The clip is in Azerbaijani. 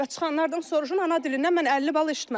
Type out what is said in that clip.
Və çıxanlardan soruşun, ana dilindən mən 50 bal içmədim.